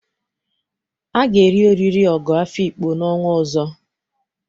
A ga-eri oriri ogo Afikpo n'ọnwa ọzọ.